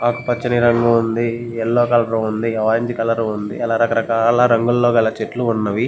ఆకుపచ్చని రంగు ఉంది ఎల్లో కలర్ ఉంది ఆరెంజ్ కలర్ ఉంది అలా రకరకాల రంగుల్లో గల చెట్లు ఉన్నవి.